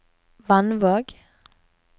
Vannvåg